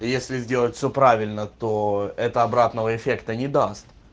если сделать всё правильно то это обратного эффекта не даст